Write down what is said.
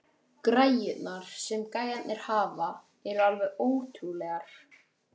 Græjurnar, sem gæjarnir hafa, eru alveg ótrúlegar.